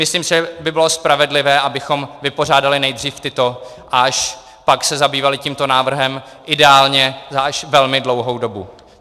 Myslím, že by bylo spravedlivé, abychom vypořádali nejdřív tyto a až pak se zabývali tímto návrhem, ideálně až za velmi dlouhou dobu.